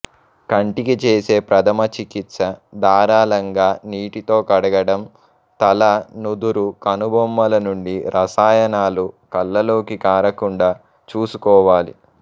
కంటికి చేసే ప్రథమ చికిత్స ధారళంగా నీటితో కడగడం తల నుదురు కనుబొమ్మల నుండి రసాయనాలు కళ్ళలోకి కారకుండా చూసుకోవాలి